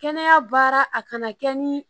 Kɛnɛya baara a kana kɛ ni